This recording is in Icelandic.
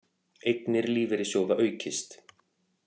Eignir lífeyrissjóða aukist